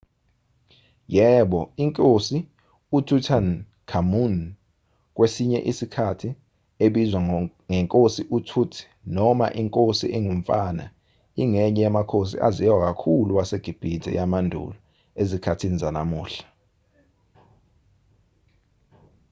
yebo inkosi ututankhamun kwesinye isikhathi ebizwa ngenkosi utut noma inkosi engumfana ingenye yamakhosi aziwa kakhulu wasegibhithe yamandulo ezikhathini zanamuhla